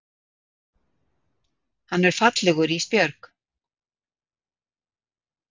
Hann er fallegur Ísbjörg.